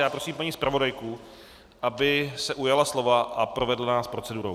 Já prosím paní zpravodajku, aby se ujala slova a provedla nás procedurou.